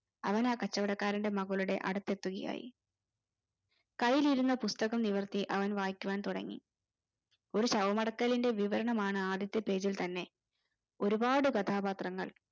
അവനെ ആ കച്ചവടക്കാരൻറെ മകളുടെ എടുത്തെത്തുകായായി കയ്യിൽ ഇരുന്ന പുസ്തകം നിവർത്തി അവൻ വായിക്കുവാൻ തുടങ്ങി ഒരു ശവമടക്കലിൻറെ വിവരമാണ് ആദ്യത്തെ page തന്നെ ഒരുപ്പാട് കഥാപാത്രങ്ങൾ